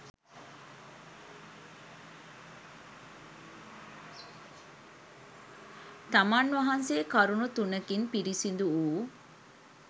තමන් වහන්සේ කරුණු තුනකින් පිරිසිදු වූ